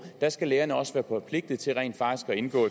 der skal lægerne også være forpligtede til rent faktisk at indgå